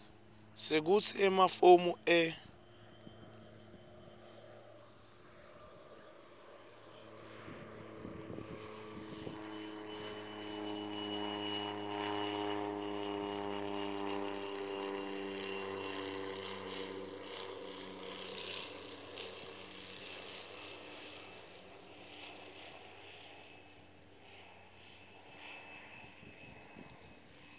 sekutsi emafomu e